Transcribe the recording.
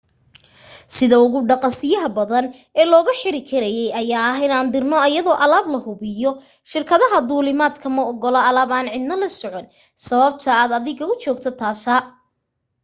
sida ugu dhaqasiyaha badan ee looga bixi karay ayaa ah in dirno ayadoo alaab lahubiya shirkadaha duulimad ma ogola alaab aan cidna la socon sababta aad adiga u joogta taasa